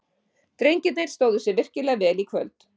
Drengirnir stóðu sig virkilega vel í kvöld.